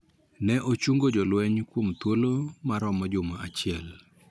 Ne ochungo lweny kuom thuolo ma romo juma achiel